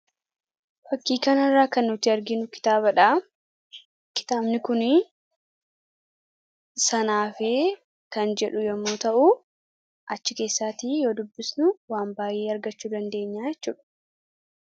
fakkii kana irraa kan nuti arginu kitaabadha kitaabni kunii sana hafee kan jedhu yommuu ta'u achi keessaatii yoo dubbisnu waan baay'ee argachuu dandeenya yaaachuudhu